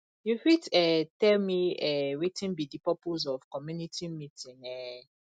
you fit um tell me um wetin be di purpose of community meeting um